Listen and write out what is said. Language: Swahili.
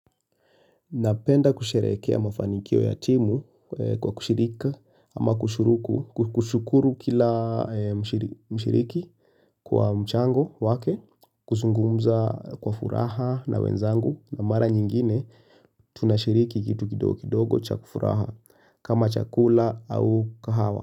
Napenda kusherehekea mafanikio ya timu kwa kushirika ama kushuruku, kushukuru kila mshiriki kwa mchango wake, kuzungumza kwa furaha na wenzangu na mara nyingine tunashiriki kitu kidogo chakufuraha kama chakula au kahawa.